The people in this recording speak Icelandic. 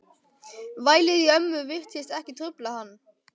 Vælið í ömmu virtist ekki trufla hann.